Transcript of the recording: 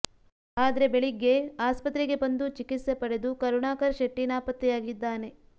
ಆದ್ರೆ ಬೆಳಗ್ಗೆ ಆಸ್ಪತ್ರೆಗೆ ಬಂದು ಚಿಕಿತ್ಸೆ ಪಡೆದು ಕರುಣಾಕರ್ ಶೆಟ್ಟಿ ನಾಪತ್ತೆಯಾಗಿದ್ದಾನೆ